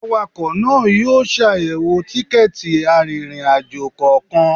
Awakọ̀ náà yóò ṣàyẹ̀wò tikẹ́ẹ̀tì arìnrìn-àjò kọ̀ọ̀kan